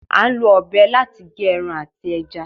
À ń lọ ọ̀bẹ láti gé ẹran àti ẹja